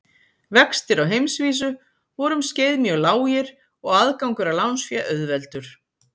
Vextir á heimsvísu voru um skeið mjög lágir og aðgangur að lánsfé auðveldur.